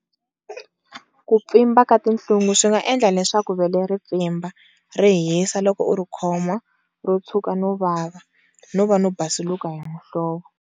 Ku pfimba ka tinhlungu swi nga endla leswaku vele ri pfimba, ri hisa loko u ri khoma, ro tshuka no vava, no va no basuluka hi muhlovo.